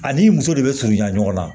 Ani muso de bɛ surunyan ɲɔgɔn na